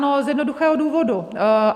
No z jednoduchého důvodu.